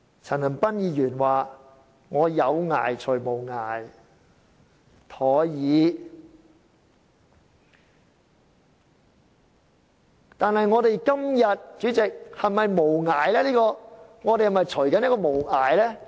陳恒鑌議員說"以有涯隨無涯，殆已"，但是，主席，我們今天是否正在"隨無涯"呢？